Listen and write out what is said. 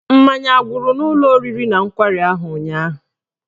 Mmanya agwụrụ n'ụlọ oriri na nkwari ahụ ụnyaahụ?